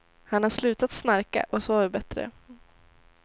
Han har slutat snarka och sover bättre.